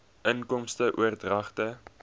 inkomste oordragte